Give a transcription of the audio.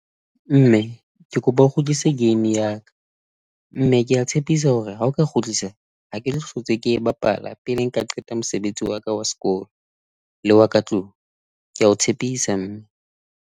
Mme ke kopa o kgutlise game ya ka, mme ke a tshepisa hore ha o ka kgutlisa a keno hlotse ke e bapala pele nka qeta mosebetsi wa ka wa sekolo le wa ka tlung, ke a o tshepisa mme.